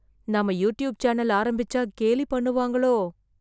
நாம YouTube channel ஆரம்பிச்சா, கேலி பண்ணுவாங்களோ...